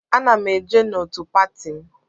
Ana m eje n'otù pati m.